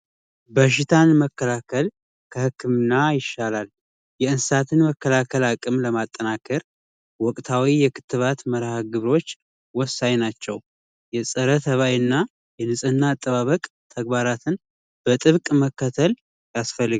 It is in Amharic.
በሽታን መከላከል ከህክምና ይሻላል የእንስሳትን መከላከል አቅም ለማጠናከር ወቅታዊ የክት ባትወሳኝ ናቸው የፀረ ሰብአዊና ንጽህና አጠባበቅ ተግባራትን በጥብቅ መከተል ያስፈልግል